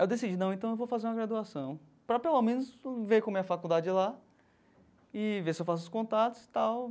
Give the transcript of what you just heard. Aí eu decidi, não, então eu vou fazer uma graduação para pelo menos ver como é a faculdade lá e ver se eu faço os contatos e tal.